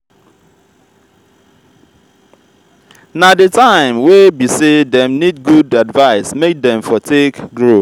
na di time way be say dem need good advice make dem for take grow